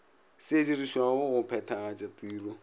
se dirišwago go phethagatša tiro